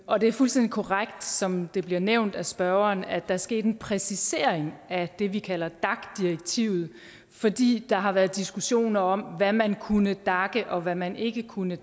og det er fuldstændig korrekt som det bliver nævnt af spørgeren at er sket en præcisering af det vi kalder dac direktivet fordi der har været diskussioner om hvad man kunne dace og hvad man ikke kunne